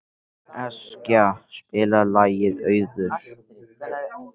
Eskja, spilaðu lagið „Auður“.